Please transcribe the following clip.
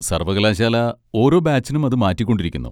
സർവ്വകലാശാല ഓരോ ബാച്ചിനും അത് മാറ്റിക്കൊണ്ടിരിക്കുന്നു.